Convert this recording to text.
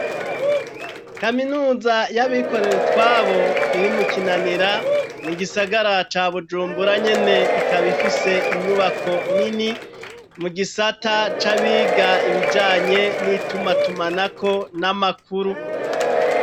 Kaminuza y'abikorerutwabo irimu Kinanira mu gisagara ca Bujumbura nyene ,ikaba ifise inyubako nini mu gisata c'abiga ibijanye n'ituma tumanako n'amakuru.